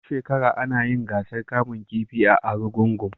Duk shekara ana yin gasar kamun kifi a Arugungun.